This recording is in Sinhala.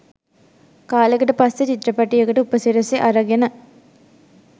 කාලෙකට පස්සේ චිත්‍රපටයකට උපසිරසි අරගෙන